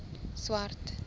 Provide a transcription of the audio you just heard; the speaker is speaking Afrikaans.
swart